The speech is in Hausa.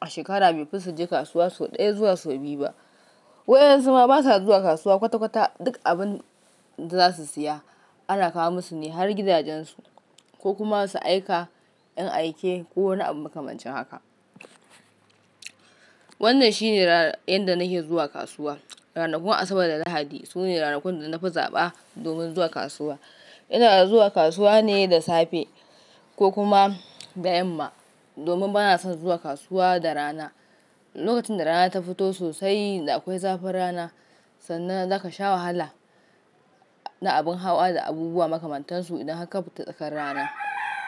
a shekara bai fi su je kasuwa sau ɗaya zuwa sau biyu ba. Waɗansu ma ba sa zuwa kasuwa kwata-kwata duk abin da za su siya ana kawo musu ne har gidajensu ko kuma su aika 'yan aike ko wani abun makamancin haka. Wannan shine ranar yanda nake zuwa kasuwa. Ranakun Asabar da Lahadi sune ranakun da na fi zaɓa domin zuwa kasuwa. Ina zuwa kasuwa ne da safe ko kuma da yamma domin ba na son zuwa kasuwa da rana. Lokacin da rana ta fito sosai da akwai zafin rana sannan za ka sha wahala da abin hawa da abubuwa makamantansu idan ka fita tsakar rana.